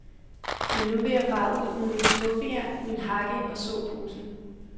Men nu vil jeg fare ud med mit skuffejern, min hakke og såposen.